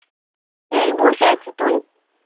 এই বসে আছি তুই